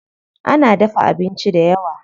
Ana dafa abincin dayawa.